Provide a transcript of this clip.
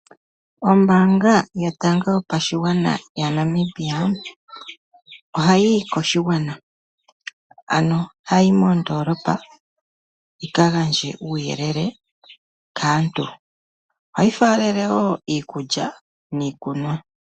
Ombaanga yotango yopashigwana yaNamibia oha yiyi koshigwana , ano haiyi mondoolopa yika gandje uuyelele kaantu, ohayi faalele woo iikulya niikunwa.